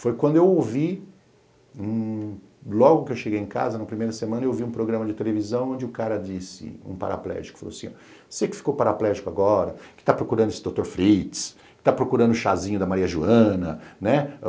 Foi quando eu ouvi, logo que eu cheguei em casa, na primeira semana, eu ouvi um programa de televisão onde o cara disse, um paraplégico, falou assim, ó, você que ficou paraplégico agora, que tá procurando esse Dr. Fritz, que tá procurando o chazinho da Maria Joana, né?